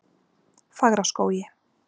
Fagraskógi